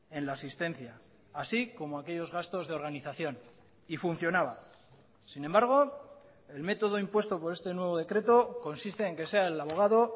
en la asistencia así como aquellos gastos de organización y funcionaba sin embargo el método impuesto por este nuevo decreto consiste en que sea el abogado